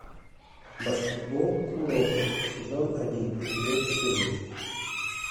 баскетбол куроко сезон один эпизод четырнадцать